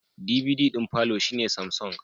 DVD d'in palour shine Samsung